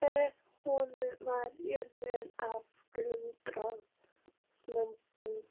Með honum var hjörð af guðslömbum.